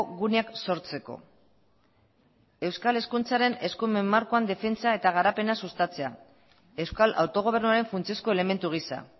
guneak sortzeko euskal hezkuntzaren eskumen markoan defentsa eta garapena sustatzea euskal autogobernuaren funtsezko elementu gisa